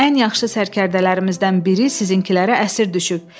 Bizim ən yaxşı sərkərdələrimizdən biri sizinkilərə əsir düşüb.